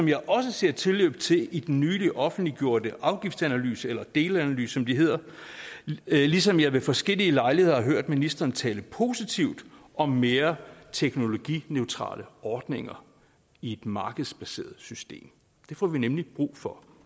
jeg også ser tilløb til det i den nylig offentliggjorte afgiftsanalyse eller delanalyse som det hedder og ligesom jeg ved forskellige lejligheder har hørt ministeren tale positivt om mere teknologineutrale ordninger i et markedsbaseret system det får vi nemlig brug for